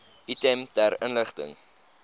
item ter inligting